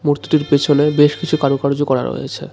মূর্তিটির পেছনে বেশ কিছু কারুকার্য করা রয়েছে।